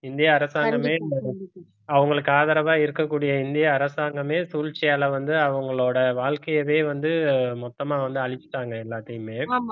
இந்திய அரசாங்கமே அவங்களுக்கு ஆதரவா இருக்கக்கூடிய இந்திய அரசாங்கமே சூழ்ச்சியால வந்து அவங்களோட வாழ்க்கையவே வந்து மொத்தமா வந்து அழிச்சுட்டாங்க எல்லாத்தையுமே